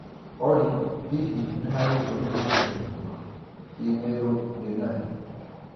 Olly, hihi nĩ harĩ ndũmĩrĩri njerũ ma i-mīrū ndĩ na yo?